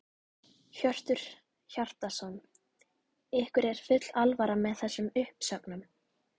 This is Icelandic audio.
Hjörtur Hjartarson: Ykkur er full alvara með þessum uppsögnum?